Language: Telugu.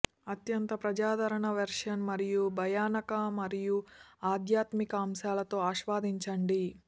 అత్యంత ప్రజాదరణ వెర్షన్ మరియు భయానక మరియు ఆధ్యాత్మికత అంశాలతో ఆస్వాదించండి